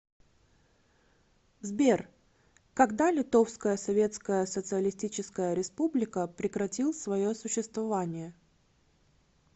сбер когда литовская советская социалистическая республика прекратил свое существование